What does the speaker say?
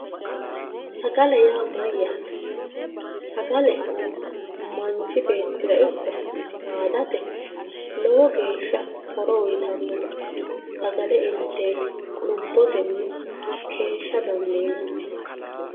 sagale yaa mayyaate sagale manchi beettira ikko saadate lowo geeshsha horo uyiitannote sagale inteeti lubbotenni keeshsha dandiinannihu.